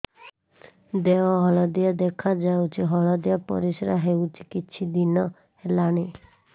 ଦେହ ହଳଦିଆ ଦେଖାଯାଉଛି ହଳଦିଆ ପରିଶ୍ରା ହେଉଛି କିଛିଦିନ ହେଲାଣି